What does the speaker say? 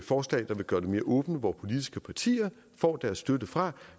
forslag der vil gøre det mere åbent hvor politiske partier får deres støtte fra